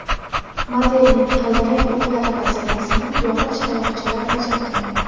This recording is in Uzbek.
Modelning g‘ildirak o‘qlari vazifasini yog‘och tayoqchalar bajargan.